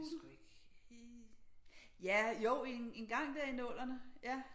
Jeg kan sgu ikke ja jo engang der i nullerne